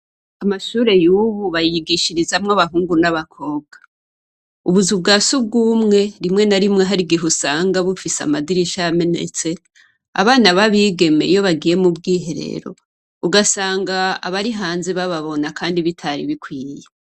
Amashuri y'ubu bayigishirizamwo abahungu n'abakobwa. Ubuzu bwa surwumwe ,rinwe na rimwe, har'igihe usanga bufise amadirisha yamenetse, abana ba bigeme iyo bagiye mu bwiherero, ugasanga abari hanze bababona kandi bitari bikwiyeye.